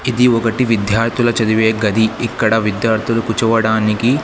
ఇది ఒకటి విద్యార్థులు చదివే గది ఇక్కడ విద్యార్థులు కూర్చోవటానికి.